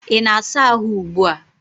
Ị na-asa ahụ ugbu a?